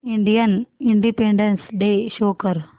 Indian Independence Day show कर